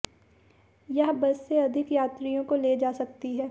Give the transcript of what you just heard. यह बस से अधिक यात्रियों को ले जा सकती है